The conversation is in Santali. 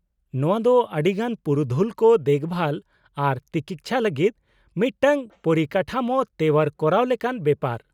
-ᱱᱚᱶᱟ ᱫᱚ ᱟᱹᱰᱤᱜᱟᱱ ᱯᱩᱨᱩᱫᱷᱩᱞ ᱠᱚ ᱫᱮᱠᱵᱷᱟᱞ ᱟᱨ ᱛᱤᱠᱤᱪᱷᱟ ᱞᱟᱹᱜᱤᱫ ᱢᱤᱫᱴᱟᱝ ᱯᱚᱨᱤᱠᱟᱴᱷᱟᱢᱳ ᱛᱮᱣᱟᱨ ᱠᱚᱨᱟᱣ ᱞᱮᱠᱟᱱ ᱵᱮᱯᱟᱨ ᱾